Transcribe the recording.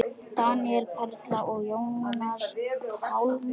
Daníel, Petra, Jónas Pálmi.